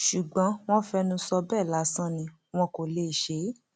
ṣùgbọn wọn fẹnu sọ bẹẹ lásán ni wọn kò lè ṣe é